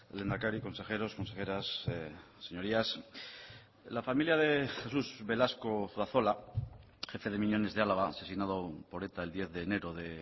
lehendakari consejeros consejeras señorías la familia de jesús velasco zuazola jefe de miñones de álava asesinado por eta el diez de enero de